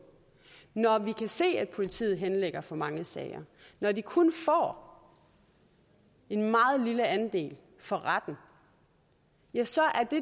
når vi kan se at politiet henlægger for mange sager og når de kun får en meget lille andel for retten ja så er det